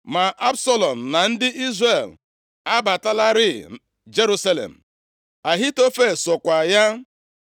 Ma Absalọm na ndị Izrel abatalarị Jerusalem. Ahitofel sokwa ya.